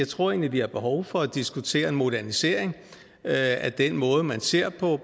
tror at vi har behov for at diskutere en modernisering af den måde hvorpå man ser